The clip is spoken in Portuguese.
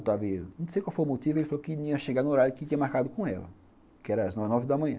Não sei qual foi o motivo, ele falou que ia chegar no horário que tinha marcado com ela, que era às nove da manhã.